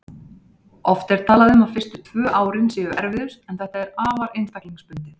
Oft er talað um að fyrstu tvö árin séu erfiðust en þetta er afar einstaklingsbundið.